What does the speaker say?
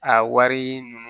A wari ninnu